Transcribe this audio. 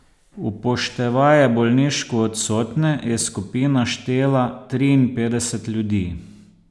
Upoštevaje bolniško odsotne je skupina štela triinpetdeset ljudi.